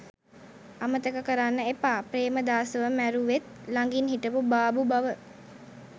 අමතක කරන්න එපා ප්‍රේමදාසව මැරුවෙත් ලඟින් හිටපු බාබු බව.